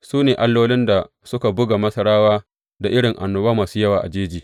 Su ne allolin da suka buga Masarawa da irin annoba masu yawa a jeji.